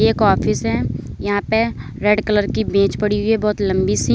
एक ऑफिस है यहां पर रेड कलर की मेज पड़ी हुई है बहुत लंबी सी।